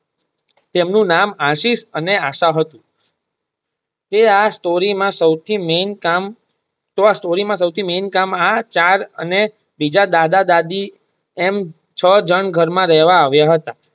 તેમનું નામ આશિષ અને આશા હતું તે આ સ્ટોરી માં સૌથી મેન કામ~તે આ સ્ટોરી માં સૌથી મેન કામ આ ચાર અને બીજા દાદા દાદી આમ છ જણ ઘર માં રહેવા આવિયા હતા.